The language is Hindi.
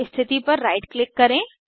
स्थिति पर राइट क्लिक करें